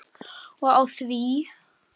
Og á því!